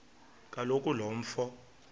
kaloku lo mfo